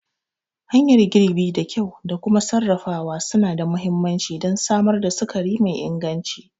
Hanyar girbi da kyau da kuma sarrafawa suna da mahimmanci don samar da sukari mai inganci.